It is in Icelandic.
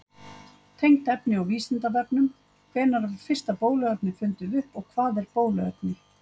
Tengt efni á Vísindavefnum: Hvenær var fyrsta bóluefnið fundið upp og hvað er bóluefni?